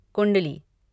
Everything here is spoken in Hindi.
कुंडली